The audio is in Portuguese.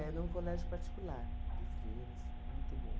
Era um colégio particular de Fleiras, muito bom.